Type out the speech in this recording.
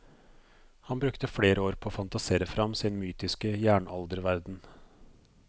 Han brukte flere år på å fantasere frem sin mytiske jernalderverden.